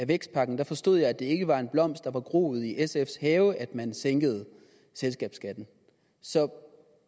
vækstpakken forstod jeg at det ikke er en blomst der er groet i sfs have at man sænkede selskabsskatten så